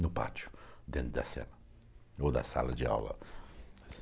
no pátio, dentro da cela, ou da sala de aula.